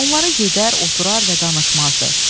Onlara gedər, oturar və danışmazdı.